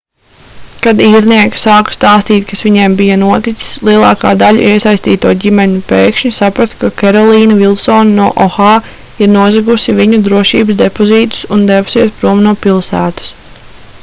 kad īrnieki sāka stāstīt kas viņiem bija noticis lielākā daļa iesaistīto ģimeņu pēkšņi saprata ka kerolīna vilsone no oha ir nozagusi viņu drošības depozītus un devusies prom no pilsētas